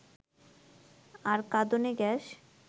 আর কাঁদানে গ্যাস